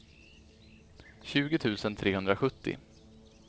tjugo tusen trehundrasjuttio